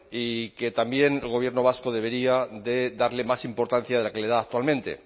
y que también el gobierno vasco debería de darle más importancia de la que le da actualmente